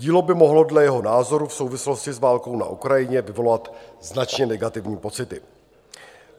Dílo by mohlo dle jeho názoru v souvislosti s válkou na Ukrajině vyvolat značně negativní pocity.